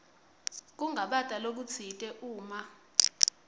kungabata lokutsite uma